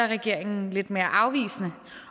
regeringen lidt mere afvisende